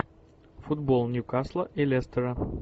футбол ньюкасла и лестера